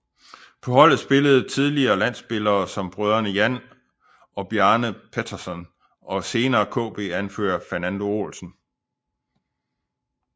På holdet spillede tidligere landspillere som brødrene Jan og Bjarne Pettersson og senere KB anfører Fernando Olsen